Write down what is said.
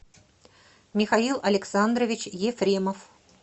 михаил александрович ефремов